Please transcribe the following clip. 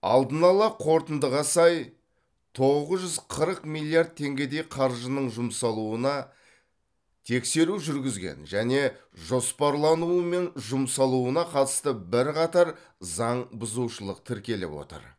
алдын ала қорытындыға сай тоғыз жүз қырық миллиард теңгедей қаржының жұмсалуына тексеру жүргізген және жоспарлануы мен жұмсалуына қатысты бірқатар заң бұзушылық тіркеліп отыр